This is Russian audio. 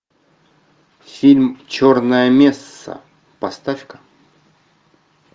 фильм черная месса поставь ка